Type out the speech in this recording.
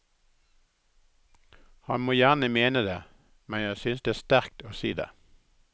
Han må gjerne mene det, men jeg synes det er sterkt å si det.